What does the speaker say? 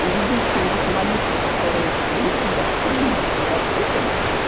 единственный вид молитвы который для тебя в принципе доступен